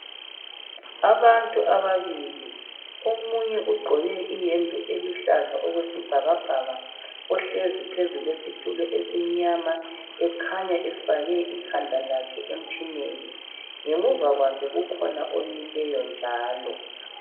Abantu ababili omunye ugqoke iyembe eluhlaza okwesibhakabhaka uhlezi phezu kwesitulo esimnyama ekhanya efake ikhanda lakhe emtshineni. Ngemuva kwakhe kukhona omileyo njalo.